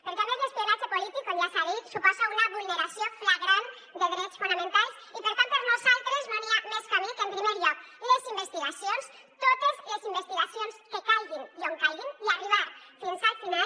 perquè a més l’espionatge polític com ja s’ha dit suposa una vulneració flagrant de drets fonamentals i per tant per nosaltres no hi ha més camí que en primer lloc les investigacions totes les investigacions que calguin i on calguin i arribar fins al final